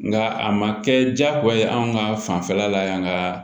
Nka a ma kɛ diyagoya ye anw ka fanfɛla la yan ka